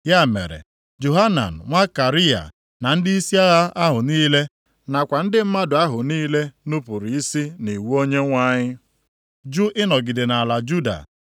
Ya mere, Johanan nwa Kariya na ndịisi agha ahụ niile, nakwa ndị mmadụ ahụ niile nupuru isi nʼiwu Onyenwe anyị, jụụ ịnọgide nʼala Juda.